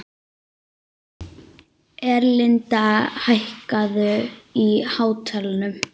Erlinda, hækkaðu í hátalaranum.